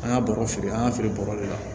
An ka bɔrɔ feere an ka feere baro de la